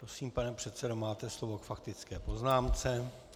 Prosím, pane předsedo, máte slovo k faktické poznámce.